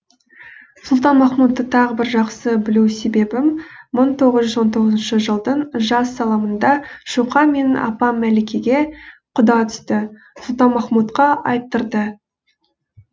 сұлтанмахмұтты тағы бір жақсы білу себебім мың тоғыз жүз тоғызыншы жылдың жаз салымында шоқаң менің апам мәликеге құда түсті сұлтанмахмұтқа айттырды